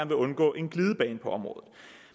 vil undgå en glidebane på området